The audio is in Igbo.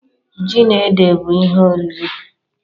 Ji na ede bụ ihe oriri.